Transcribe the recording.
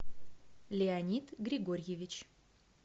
леонид григорьевич